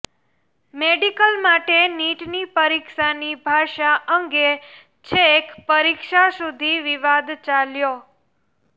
medical માટે નીટની પરીક્ષાની ભાષા અંગે છેક પરીક્ષા સુધી વિવાદ ચાલ્યો